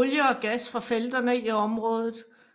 Olie og gas fra felterne i området